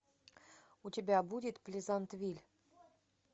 у тебя будет плезантвиль